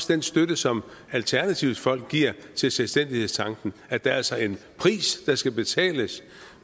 den støtte som alternativets folk giver til selvstændighedstanken at der altså er en pris der skal betales